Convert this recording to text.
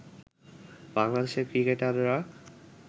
বাংলাদেশের ক্রিকেটাররা